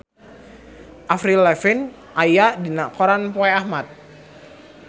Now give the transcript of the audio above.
Avril Lavigne aya dina koran poe Ahad